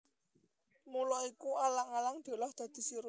Mula iku alang alang diolah dadi sirup